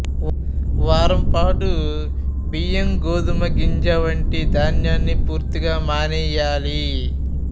వారంపాటు బియ్యం గోధుమ వంటి గింజ ధాన్యాన్ని పూర్తిగా మానేయాలి